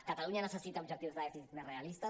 catalunya necessita objectius de dèficit més realistes